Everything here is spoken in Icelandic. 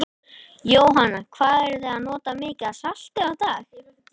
Jóhanna: Hvað eruð þið að nota mikið af salti á dag?